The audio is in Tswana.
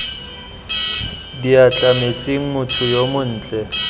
diatla metsing motho yo montle